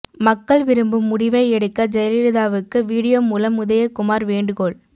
மக்கள் விரும்பும் முடிவை எடுக்க ஜெயலலிதாவுக்கு வீடியோ மூலம் உதயகுமார் வேண்டுகோள்